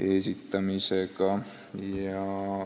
esindamisega.